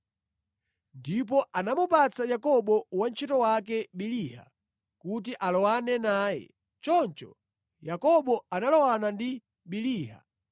Ndipo anamupatsa Yakobo wantchito wake Biliha kuti alowane naye. Choncho Yakobo analowana ndi Biliha,